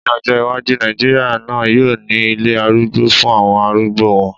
Ní ọjọ́ iwájú, Nàìjíríà náà yóò ní ilé arúgbó fún àwọn arúgbó wọn